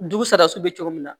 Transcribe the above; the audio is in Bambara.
Dugu sara so bɛ cogo min na